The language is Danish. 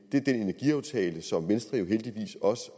energiaftale som venstre jo heldigvis også